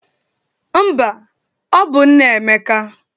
Mba, ọ bụ nna Emeka